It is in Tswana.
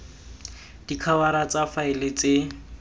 b dikhabara tsa faele tse